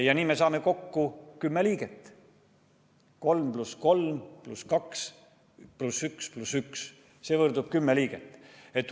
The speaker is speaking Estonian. Ja nii me saame kokku 10 liiget: 3 + 3 + 2 + 1 + 1 võrdub 10 liiget.